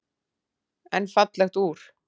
En fallegt úr.